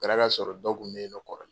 O kɛra ka sɔrɔ dɔ kun bɛ yen nɔ kɔrɔlen.